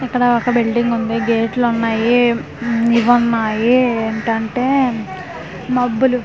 ఇక్కడ ఒక బిల్డింగుంది గేట్లున్నాయ్ మ్మ్ ఇవున్నాయి ఏంటంటే మబ్బులు.